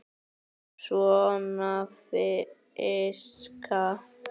Svona fiska.